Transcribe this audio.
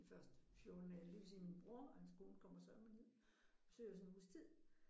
De første 14 dage men det vil sige min bror og hans kone kommer sørme ned og besøge os en uges tid